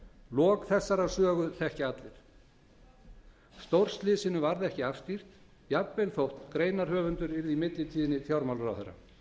lok þessarar sögu þekkja allir stórslysinu varð ekki afstýrt jafnvel þótt greinarhöfundur yrði í millitíðinni fjármálaráðherra